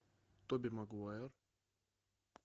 тоби магуайр